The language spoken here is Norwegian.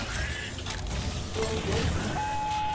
Storfjord